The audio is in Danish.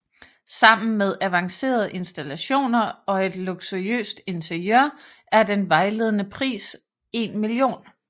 Sammen med avancerede installationer og et luksuriøst interiør er den vejledende pris 1 mio